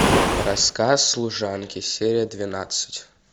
рассказ служанки серия двенадцать